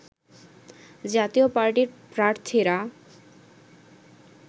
জাতীয় পার্টির প্রার্থীরা